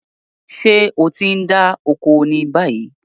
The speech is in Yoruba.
Ṣé o ti ń dá oko ni báyìí?